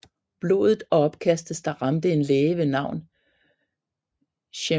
Blodet og opkasten ramte en læge ved navn Shem Musoke